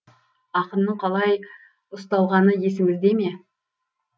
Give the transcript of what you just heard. ақынның қалай ұсталғаны есіңізде ме